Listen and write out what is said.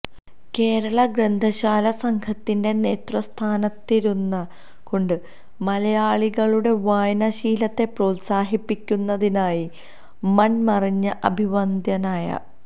കേരള ഗ്രന്ഥശാലാ സംഘത്തിന്റെ നേതൃസ്ഥാനത്തിരുന്നുകൊണ്ട് മലയാളികളുടെ വായനാശീലത്തെ പ്രോത്സാഹിപ്പിക്കുന്നതിന്നായി മൺമറഞ്ഞ അഭിവന്ദ്യനായ